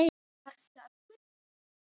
Varstu að gubba?